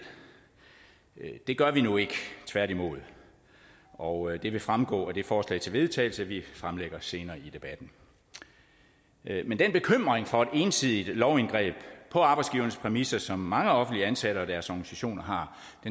det gør vi nu ikke tværtimod og det vil fremgå af det forslag til vedtagelse vi fremsætter senere i debatten men den bekymring for et ensidigt lovindgreb på arbejdsgivernes præmisser som mange offentligt ansatte og deres organisationer har